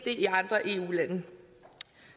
i andre eu lande